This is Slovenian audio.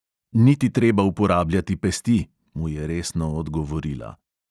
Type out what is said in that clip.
"Ni ti treba uporabljati pesti," mu je resno odgovorila.